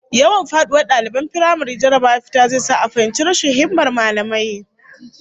Yawan faduwar daliban firamare jarrabawar fita zai sa a fahimci rashin himmar mallamai